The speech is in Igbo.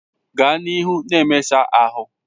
Gaa n'ihu na mmesa ahụ!